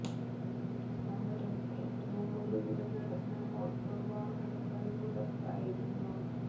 ഒരു സമരം ഏറ്റവും ഒടുവില് നടന്ന മോട്ടോര് വാഹന പണിമുടക്കായിരുന്നു